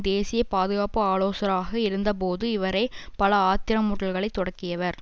தேசிய பாதுகாப்பு ஆலோசராக இருந்தபோது இவரே பல ஆத்திரமூட்டல்களை தொடக்கியவர்